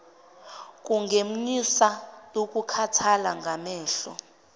kungenyusa ukukhathala kwamehlo